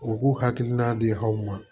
U k'u hakilina di aw ma